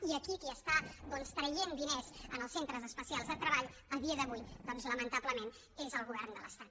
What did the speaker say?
i aquí qui està doncs traient diners als centres especials de treball a dia d’avui doncs lamentablement és el govern de l’estat